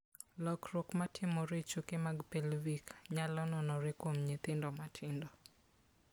Lokruok matimore e choke mag pelvic, nyalo nenore kuom nyithindo matindo .